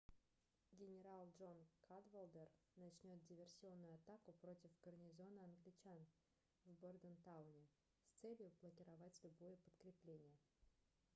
генарал джон кадвалдер начнет диверсионную атаку против гарнизона англичан в бордентауне с целью блокировать любое подкрепление